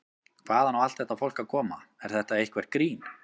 Hvaðan á allt þetta fólk að koma, er þetta eitthvert grín?